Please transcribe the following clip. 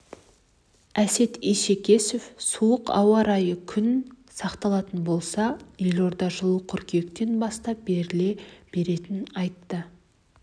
әсет исекешев суық ауа райы күн сақталатын болса елордада жылу қыркүйектен бастап беріле беретінін айтты